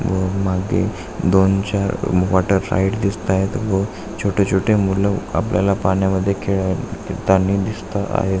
व मागे दोन चार वॉटर राइड दिसताएत व छोटे छोटे मूल आपल्याला पाण्या मध्ये खेळाय तानी दिसता आहेत.